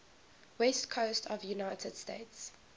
west coast of the united states